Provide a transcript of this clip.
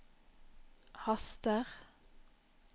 haster